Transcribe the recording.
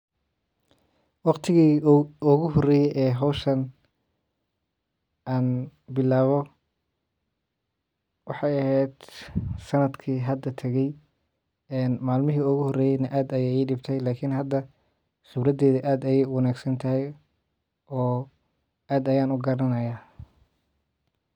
Wakhtigii ugu horeye ee hawshaan aan bilawe waxey eheed sanadkii hada taage een malmihi igu horeye aad bey idibte Lakini hada suradeeydo aad bey uwanaagsan tahay oo aad aya ugaaranaya.